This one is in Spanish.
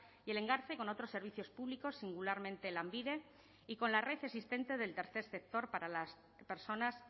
y el engarce con otros servicios públicos singularmente lanbide y con la red existente del tercer sector para las personas